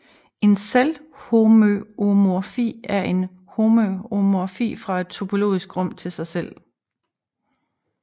En selvhomøomorfi er en homøomorfi fra et topologisk rum til sig selv